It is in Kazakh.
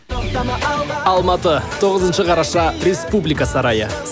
алматы тоғызыншы қараша республика сарайы